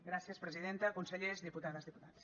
gràcies presidenta consellers diputades diputats